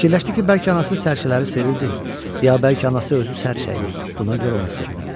Fikirləşdi ki, bəlkə anası sərçələri sevirdi, ya bəlkə anası özü sərçəydi, buna görə onu sevmirirdi.